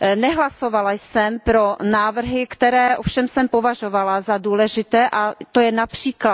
Nehlasovala jsem pro návrhy, které jsem ovšem považovala za důležité, a to je např.